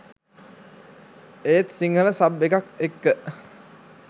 ඒත් සිංහල සබ් එකක් එක්ක